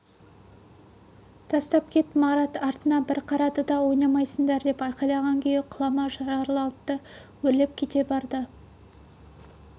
тастап кет марат артына бір қарады да ойнамайсыңдар деп айқайлаған күйі құлама жарлауытты өрлеп кете барды